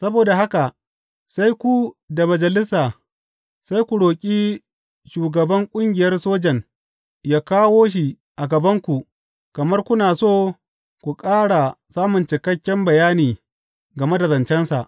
Saboda haka, sai ku da Majalisa sai ku roƙi shugaban ƙungiyar sojan yă kawo shi a gabanku kamar kuna so ku ƙara samun cikakken bayani game da zancensa.